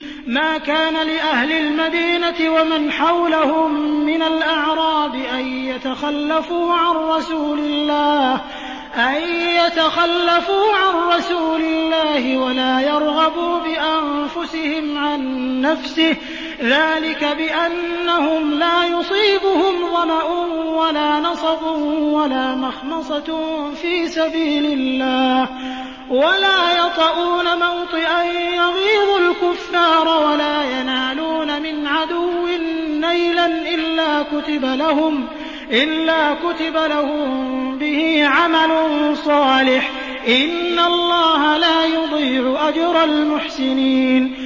مَا كَانَ لِأَهْلِ الْمَدِينَةِ وَمَنْ حَوْلَهُم مِّنَ الْأَعْرَابِ أَن يَتَخَلَّفُوا عَن رَّسُولِ اللَّهِ وَلَا يَرْغَبُوا بِأَنفُسِهِمْ عَن نَّفْسِهِ ۚ ذَٰلِكَ بِأَنَّهُمْ لَا يُصِيبُهُمْ ظَمَأٌ وَلَا نَصَبٌ وَلَا مَخْمَصَةٌ فِي سَبِيلِ اللَّهِ وَلَا يَطَئُونَ مَوْطِئًا يَغِيظُ الْكُفَّارَ وَلَا يَنَالُونَ مِنْ عَدُوٍّ نَّيْلًا إِلَّا كُتِبَ لَهُم بِهِ عَمَلٌ صَالِحٌ ۚ إِنَّ اللَّهَ لَا يُضِيعُ أَجْرَ الْمُحْسِنِينَ